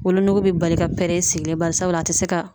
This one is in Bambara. Wolonuku be bali ka pɛrɛn i sigilen. Barisabula a te se ka